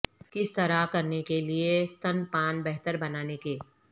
کس طرح کرنے کے لئے ستنپان بہتر بنانے کے